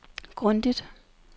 grundigt